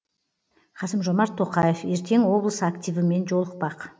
қасым жомарт тоқаев ертең облыс активімен жолықпақ